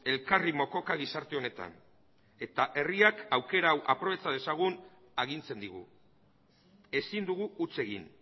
elkarri mokoka gizarte honetan eta herriak aukera hau aprobetxa dezagun agintzen digu ezin dugu huts egin